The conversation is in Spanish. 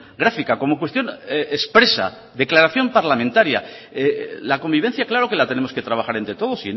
gráfica como cuestión expresa declaración parlamentaria la convivencia claro que la tenemos que trabajar entre todos